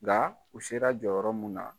Nka u sera jɔyɔrɔ mun na